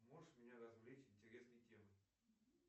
можешь меня развлечь интересной темой